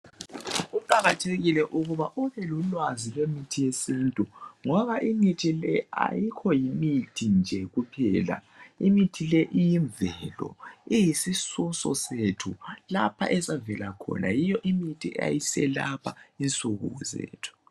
Kuqakathekile ukuba lolwazi ngemithi yesintu ngoba imithi le ayikho yimithi nje kuphela imithi le iyimvelo iyisisoso sethu lapha esavela khona yiyo imithi eyayiselapha insuku zethu